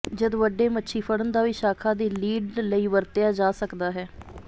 ਜਦ ਵੱਡੇ ਮੱਛੀ ਫੜਨ ਦਾ ਵੀ ਸ਼ਾਖਾ ਦੀ ਲੀਡ ਲਈ ਵਰਤਿਆ ਜਾ ਸਕਦਾ ਹੈ